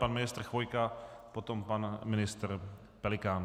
Pan ministr Chvojka, potom pan ministr Pelikán.